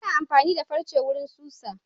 Ana amfani da farce wurin susa.